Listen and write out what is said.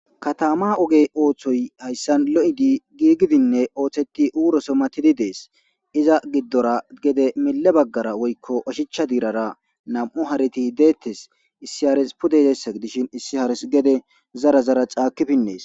Katama oge ossoy haysan lo'idine giigidi de'es iza gidora gede mile bagara woyko oshicha diirara nam'u hareti deethes issi hare pude yizaysa gidishin issi harezi gede zara zare caaki pines.